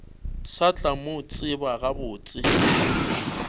sa tla mo tseba gabotse